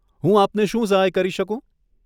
હું આપને શું સહાય કરી શકું?